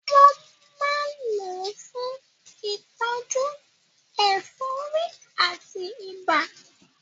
Wọ́n máa ń lò ó fún ìtọ́jú ẹ̀fọ́rí àti ibà.